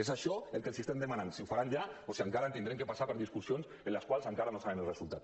és això el que els estem demanant si ho faran ja o si encara haurem de passar per discussions de les quals encara no sabem el resultat